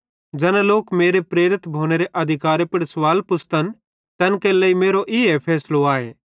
ज़ैना लोक मेरे प्रेरित भोनेरे अधिकारे पुड़ सवाल पुच़्छ़तन तैन केरे लेइ मेरो ईए फैसलो आए